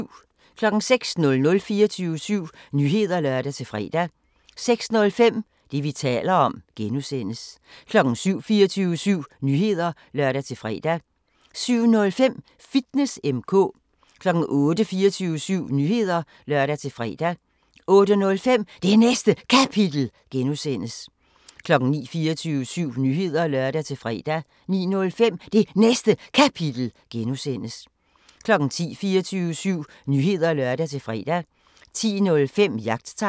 06:00: 24syv Nyheder (lør-fre) 06:05: Det, vi taler om (G) 07:00: 24syv Nyheder (lør-fre) 07:05: Fitness M/K 08:00: 24syv Nyheder (lør-fre) 08:05: Det Næste Kapitel (G) 09:00: 24syv Nyheder (lør-fre) 09:05: Det Næste Kapitel (G) 10:00: 24syv Nyheder (lør-fre) 10:05: Jagttegn